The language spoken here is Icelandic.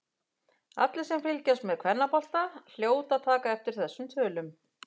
Allir sem fylgjast með kvennabolta hljóta að taka eftir þessum tölum.